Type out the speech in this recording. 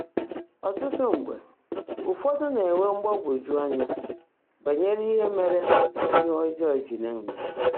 Ọ́tụ́tụ́ mgbe, ụfọ́dụ́ ná-énwé mgbaàgwọ́jụ́ ányá bányèré íhe mèèré íhe ọ́jọ́ọ́ jị́ ná-èmè.